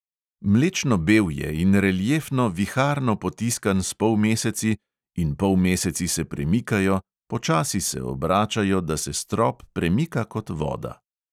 Mlečno bel je in reliefno viharno potiskan s polmeseci, in polmeseci se premikajo, počasi se obračajo, da se strop premika kot voda.